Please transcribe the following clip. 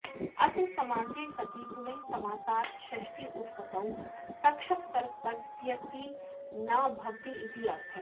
अत्र समासे सति पुनः समासात् षष्ठ्युत्पत्तौ तक्षकसर्पस्येति न भवतीत्यर्थः